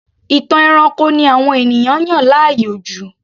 Ìtàn ẹranko ni àwọn ènìyàn yàn láàyò jù